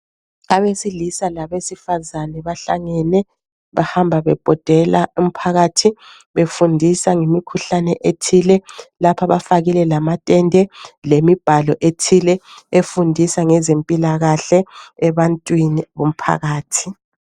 Abesilisa labesifazane bahlangene bahamba bebhodela umphakathi befundisa ngemikhuhlane ethile. Lapha bafakile lamatende lemibhalo ethile efundisa ngezempilakahle ebantwini bomphakathi.